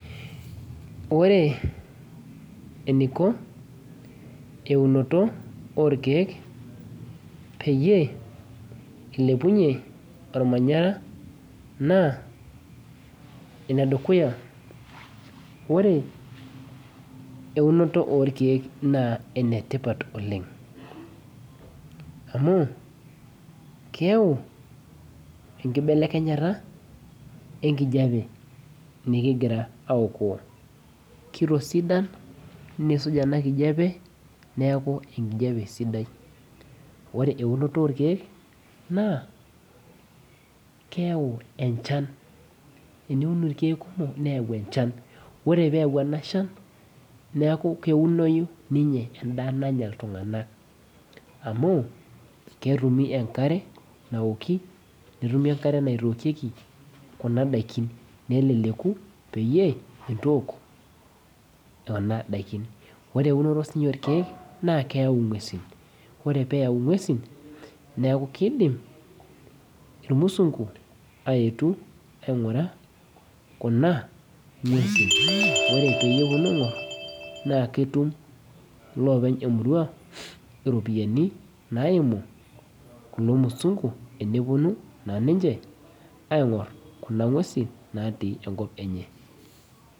Ore eniko eunoto orkeek peyie ilepunyie ormanyara naa enedukuya ore eunoto orkeek naa enetipat oleng amu keu enkibelekenyata enkijape nikigira aokoo kitosidan niisuj ena kijape neeku enkijape sidai ore eunoto orkeek naa keyau enchan eniun irkeek kumok neyau enchan ore peyau ena shan neku keunoyu ninye enda nanya iltung'anak amu ketumi enkare naoki netumi enkare naitokieki kuna daikin neleleku peyie intook ena daikin ore eunoto sinye orkeek naa keyau ing'uesin ore peyau ing'uesin naa kidim irmusungu ayetu aing'ura kuna ng'uesin ore peyie eponu aing'orr naa ketum loopeny emurua iropiayiani naimu kulo musungu eneponu naa ninche aing'orr kuna ng'uesin natii enkop enye.